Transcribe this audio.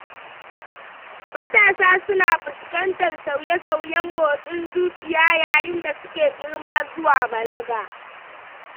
Matasa suna fuskantar sauye-sauyen motsin zuciya yayin da suke girma zuwa balaga.